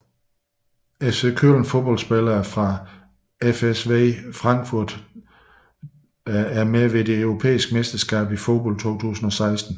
FC Köln Fodboldspillere fra FSV Frankfurt Deltagere ved det europæiske mesterskab i fodbold 2016